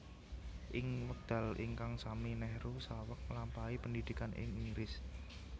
Ing wekdal ingkang sami Nehru saweg nglampahi pendhidhikan ing Inggris